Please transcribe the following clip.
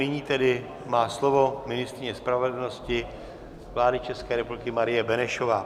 Nyní tedy má slovo ministryně spravedlnosti vlády České republiky Marie Benešová.